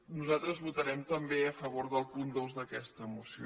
nosaltres votarem també a favor del punt dos d’aquesta moció